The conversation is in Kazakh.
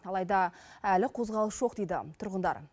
алайда әлі қозғалыс жоқ дейді тұрғындар